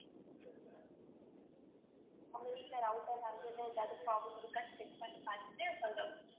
உங்க வீட்டுல router connection ன்னு எதாவது problem இருக்கான்னு check பண்ணி பாத்துட்டு சொல்றோம்